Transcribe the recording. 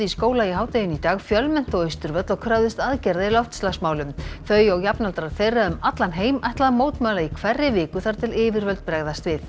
í skóla í hádeginu í dag fjölmenntu á Austurvöll og kröfðust aðgerða í loftslagsmálum þau og jafnaldrar þeirra um allan heim ætla að mótmæla í hverri viku þar til yfirvöld bregðast við